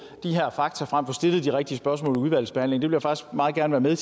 de her fakta frem og få stillet de rigtige spørgsmål i udvalgsbehandlingen jeg faktisk meget gerne være